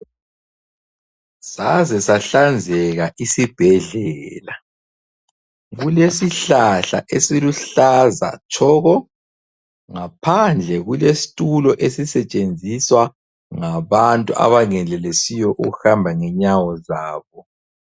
Saze sahlanzeka isibhedlela. Kulesihlahla esiluhlaza tshoko. Ngaphandle kulesitulo esisetshenziswa ngabantu abangenelisiyo ukuhamba ngenyawo zabo.